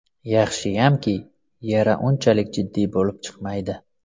Yaxshiyamki, yara unchalik jiddiy bo‘lib chiqmaydi.